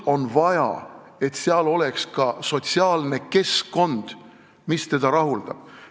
On vaja, et oleks ka sotsiaalne keskkond, mis inimest rahuldab.